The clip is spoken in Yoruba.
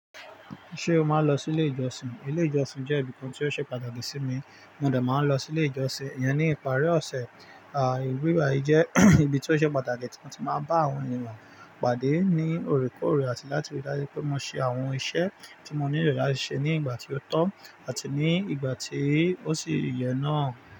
Ṣé o máa ń lọ sí ilé ìjọsìn? Ilé ìjọsìn jẹ́ ibi kan tí ó ṣe pàtàkì sí mi, mo de máa ń lọ sí ilé ìjọsìn. Iyen ní ìparí ọ̀sẹ̀, à ibi bayii jẹ́ ibi tí ó ṣe pàtàkì tí mo ti máa bá àwọn ènìyàn pàdé ní òrékọ̀ọ̀rè àti láti rí dájú pé mo ṣe àwọn ìṣe tí mo nílò láti ṣe ní ìgbà tí ó tọ́ àti ní ìgbà tí ó sì yẹ náà.